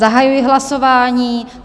Zahajuji hlasování.